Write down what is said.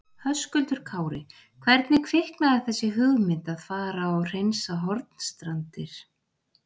Höskuldur Kári: Hvernig kviknaði þessi hugmynd að fara og hreinsa Hornstrandir?